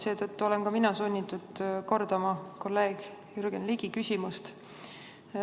Seetõttu olen ka mina sunnitud kordama kolleeg Jürgen Ligi küsimust.